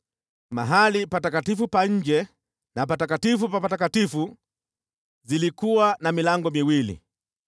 Mahali patakatifu pa nje na Patakatifu Pa Patakatifu zilikuwa na milango miwili.